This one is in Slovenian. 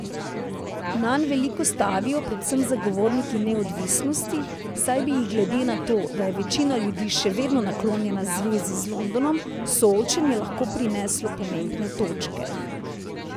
Nanj veliko stavijo predvsem zagovorniki neodvisnosti, saj bi jim glede na to, da je večina ljudi še vedno naklonjena zvezi z Londonom, soočenje lahko prineslo pomembne točke.